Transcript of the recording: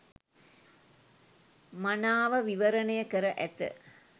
මනාව විවරණය කර ඇත.